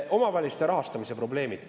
Omavalitsuste rahastamise probleemid.